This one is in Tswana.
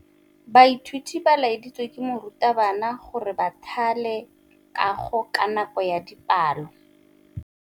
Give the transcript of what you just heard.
Baithuti ba laeditswe ke morutabana gore ba thale kagô ka nako ya dipalô.